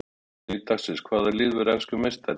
Spurning dagsins: Hvaða lið verður enskur meistari?